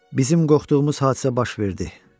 Bizim qorxduğumuz hadisə baş verdi.